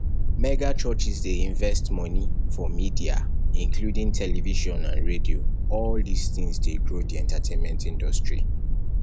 megachurches dey invest money for media including television and and radio all these things dey grow di entertainment industry